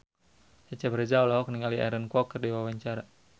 Cecep Reza olohok ningali Aaron Kwok keur diwawancara